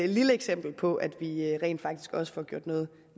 lille eksempel på at vi rent faktisk også får gjort noget